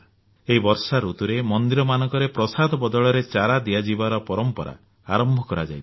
ଏହି ବର୍ଷା ଋତୁରେ ମନ୍ଦିରମାନଙ୍କରେ ପ୍ରସାଦ ବଦଳରେ ଚାରା ଦିଆଯିବାର ପରମ୍ପରା ଆରମ୍ଭ କରାଯାଇପାରେ